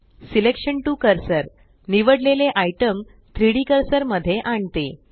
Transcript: selection to cursor निवडलेले item 3डी cursor मध्ये आणते